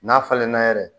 N'a falenna yɛrɛ